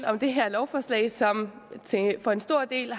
om det her lovforslag som for en stor del